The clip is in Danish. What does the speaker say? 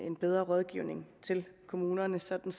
en bedre rådgivning af kommunerne sådan